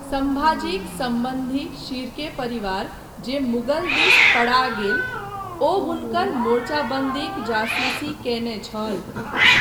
सम्भाजीक सम्बन्धी शिर्के परिवार जे मुग़ल दिस पड़ा गेल ओ हुनकर मोर्चाबन्दीक जासूसी कयने छल।